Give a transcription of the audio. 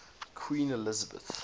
queen elizabeth